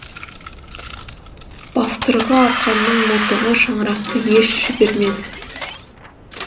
бастырғы арқанның мылтығы шаңарақты еш жібермеді